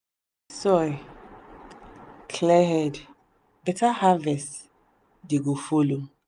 clean soil. clear head. better harvest dey go follow.